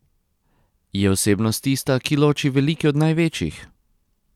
Je osebnost tista, ki loči velike od največjih?